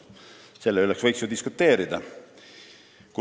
Selle üle võiks ju diskuteerida.